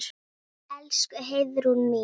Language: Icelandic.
Elsku Heiðrún mín.